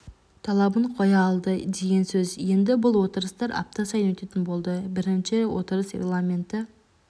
талабын қоя алды деген сөз енді бұл отырыстар апта сайын өтетін болды бірінші отырыс регламентті